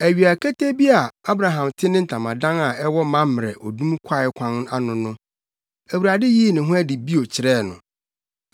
Awia ketee bi a Abraham te ne ntamadan a ɛwɔ Mamrɛ odum kwae kwan ano no, Awurade yii ne ho adi bio kyerɛɛ no.